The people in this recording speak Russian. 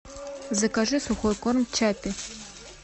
закажи сухой корм чаппи